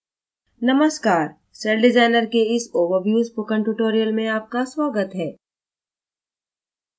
नमस्कार cell designer के इस overview spoken tutorial में आपका स्वागत है